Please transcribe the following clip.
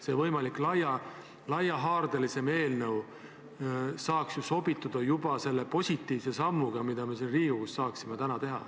See võimalik laiahaardelisem eelnõu saaks ju sobituda juba selle positiivse sammuga, mille me siin Riigikogus saaksime täna teha.